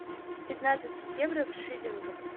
пятнадцать евро в шиллингах